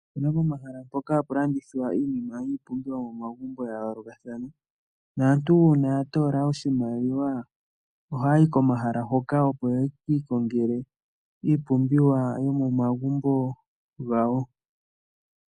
Opu na pomahala mpoka hapu landithwa iinima yiipumbiwa yomomagumbo ya yoolokathana. Naantu uuna ya toola oshimaliwa ohaya yi komahala hoka, opo ye ki ikongele iipumbiwa yomomagumbo gawo.